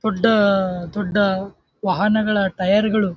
food ದೊಡ್ಡ ವಾಹನಗಳ tyre ಗಳು --